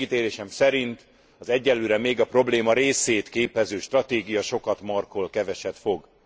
Megítélésem szerint az egyelőre még a probléma részét képező stratégia sokat markol, keveset fog.